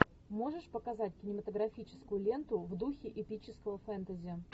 можешь показать кинематографическую ленту в духе эпического фэнтези